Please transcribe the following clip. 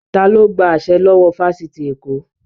Ta ló gba àṣẹ lọ́wọ́ fáfitì Èkó?